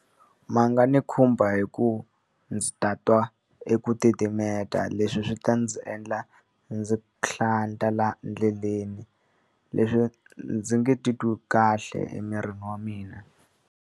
Ma nga ni khumba hi ku va ndzi tatwa eku titimeta leswi swi ta ndzi endla ndzi hlanta laha ndleleni. Leswi ndzi nge titwi kahle emirini wa mina.